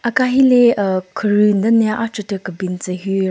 Aka hi le aa kheru den le achvu tyü kebin tsü hyu ro--